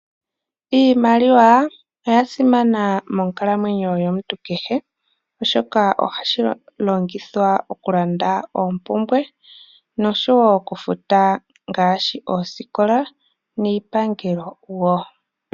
Iimaliwa oya simana monkalamwenyo yomuntu kehe, oshoka ohashi longithwa oku landa oompumbwe noshowo oku futa ngaashi oosikola niipangelo wo.